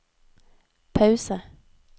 pause